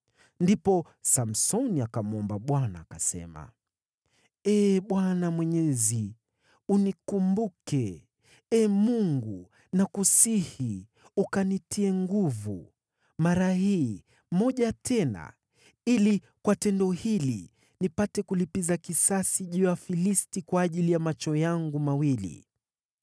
Ndipo Samsoni akamwomba Bwana , akasema, “Ee Bwana Mwenyezi, unikumbuke. Ee Mungu, nakusihi ukanitie nguvu mara hii moja tena, ili kwa tendo hili nipate kulipiza kisasi juu ya Wafilisti kwa ajili ya macho yangu mawili.”